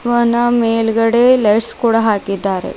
ವನ ಮೇಲ್ಗಡೆ ಲೈಟ್ಸ್ ಕೂಡ ಹಾಕಿದ್ದಾರೆ.